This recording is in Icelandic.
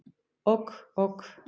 Ok ok.